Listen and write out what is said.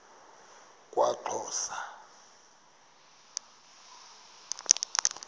kwaxhosa